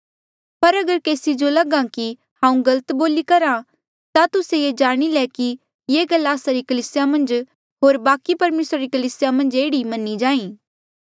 पर अगर केसी जो लगहा कि हांऊँ गलत बोली करहा ता तुस्से ये जाणी ले कि ये गल्ला आस्सा री कलीसिया मन्झ होर बाकि परमेसरा री कलीसिया मन्झ एह्ड़ी ही मन्हां ईं जाहीं